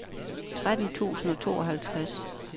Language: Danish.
tretten tusind og tooghalvtreds